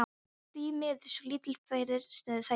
Ég er því miður svo lítið fyrir sætindi.